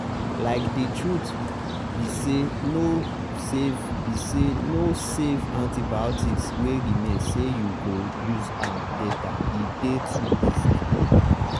likethe truth be sayno save be sayno save antibiotics wey remain say you go use am latere dey too risky.